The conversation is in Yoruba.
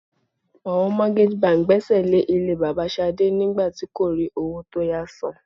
Àwọn mortgage bank gbésè lè ilé bàbà Ṣadé nígbà tí kò rí owó tó yá san.